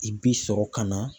I bi sɔrɔ ka na